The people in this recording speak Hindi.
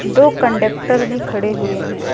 दो कंडेक्टर भी खड़े हुए हैं।